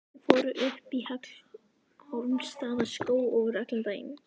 Þau fóru upp í Hallormsstaðarskóg og voru allan daginn.